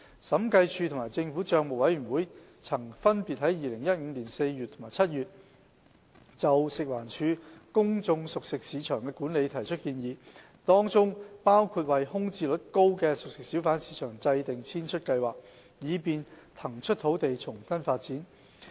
審計署及政府帳目委員會曾分別在2015年4月及7月就食環署公眾熟食市場的管理提出建議，當中包括為空置率高的熟食小販市場制訂遷出計劃，以便騰出土地重新發展。